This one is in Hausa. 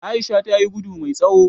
Aisha tayi gudu mai tsawo